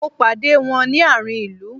Mo pàdé wón ni àárín ilu